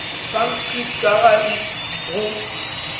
sanskrit ka ga ik go